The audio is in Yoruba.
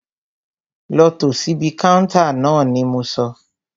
Lọ tò síbi káúntá ni mo sọ!